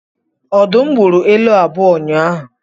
Ọdụm gburu ele abụọ ụnyahụ